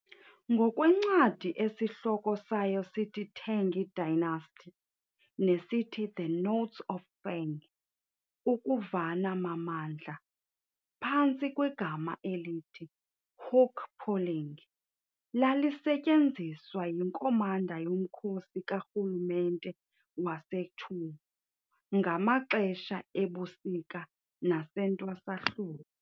Ngokwencwadi esihloko sayo sithiTang dynasty, nesithi"The Notes of Feng", ukuvana mamandla, phantsi kwegama elithi "hook pulling", lalisetyenziswa yiNkomanda yomkhosi karhulumente waseChu ngamaxesha ebusika nasentwasahlobo